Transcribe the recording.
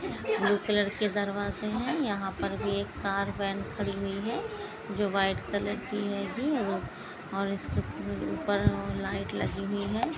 Blue colour के दरवाजे है यहाँ पर भी एक कार वेन खड़ी हुई है जो व्हाइट कलर की हेगी और इसके उपर एक लाईट लगी हुई है।